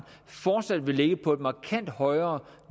fortsat vil ligge på et markant højere